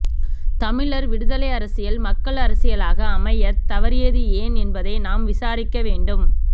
தமிழர் விடுதலை அரசியல் மக்கள் அரசியலாக அமையத் தவறியது ஏன் என்பதை நாம் விசாரிக்க வேண்டும்